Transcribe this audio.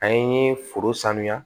An ye foro sanuya